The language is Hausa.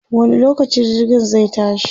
wani lokaci jirgin zai tashi?